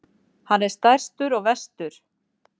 Hann er stærstur og verstur.